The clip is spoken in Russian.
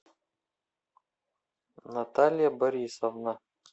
наталья борисовна